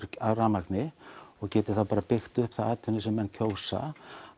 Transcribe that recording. rafmagni og geti þá bara byggt upp þá atvinnu sem menn kjósa